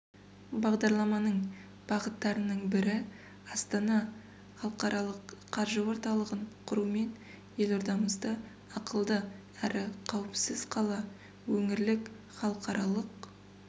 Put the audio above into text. бағдарламаның бағыттарының бірі астана іалықаралық қаржы орталығын құрумен елордамызды ақылды әрі қауіпсіз қала өңірлік халықаралық